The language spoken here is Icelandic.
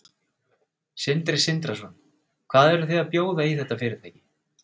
Sindri Sindrason: Hvað eruð þið að bjóða í þetta fyrirtæki?